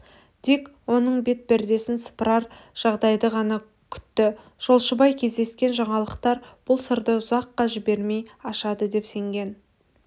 дик оның бет пердесін сыпырар жағдайды ғана күтті жолшыбай кездескен жаңалықтар бұл сырды ұзаққа жібермей ашады деп сенген